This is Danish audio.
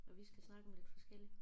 Og vi skal snakke om lidt forskelligt